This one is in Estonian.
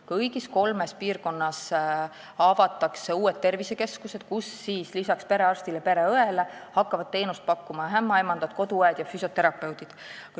Kõigis kolmes piirkonnas avatakse uued tervisekeskused, kus lisaks perearstile ja pereõele hakkavad teenust pakkuma ämmaemandad, koduõed ja füsioterapeudid.